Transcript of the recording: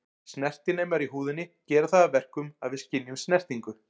Snertinemar í húðinni gera það að verkum að við skynjum snertingu.